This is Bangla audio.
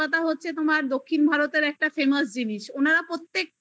তোমার দক্ষিণ ভারতের একটা famous জিনিস তারা প্রত্যেকটা